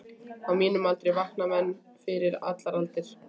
Á mínum aldri vakna menn fyrir allar aldir.